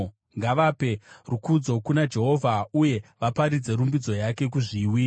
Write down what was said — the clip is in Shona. Ngavape rukudzo kuna Jehovha uye vaparidze rumbidzo yake kuzviwi.